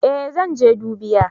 Eh zan je dubiya